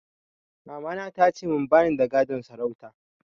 Mamana ta ce min ba ni da gadon sarauta